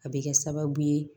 A bɛ kɛ sababu ye